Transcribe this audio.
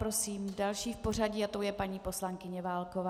Prosím další v pořadí a tou je paní poslankyně Válková.